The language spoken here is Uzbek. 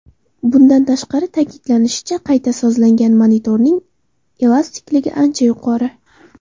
Bundan tashqari, ta’kidlanishicha, qayta sozlangan motorning elastikligi ancha yuqori.